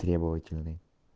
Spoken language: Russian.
требовательный